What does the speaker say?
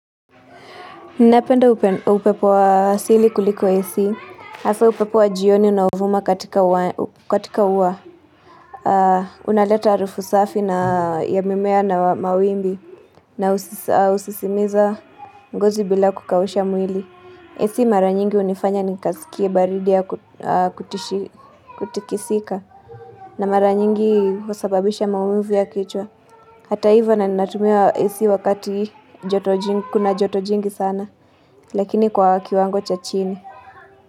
Napenda upepo wa asili kuliko AC, hasaa upepo wa jioni unaouvuma katika uwa, unaleta harufu safi na ya mimea na mawimbi na husisimiza ngozi bila kukausha mwili. AC mara nyingi hunifanya nikasikie baridi ya kutikisika na mara nyingi husababisha maumivu ya kichwa. Hata ivo ninatumia AC wakati kuna joto jingi sana. Lakini kwa kiwango cha chini.